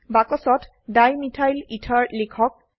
বাক্সত ডাইমিথাইলেথেৰ লিখক